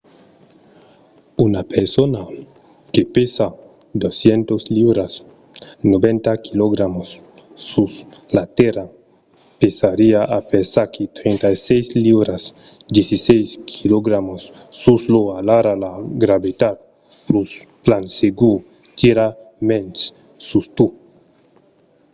una persona que pesa 200 liuras 90kg sus la tèrra pesariá aperaquí 36 liuras 16kg sus io. alara la gravetat plan segur tira mens sus tu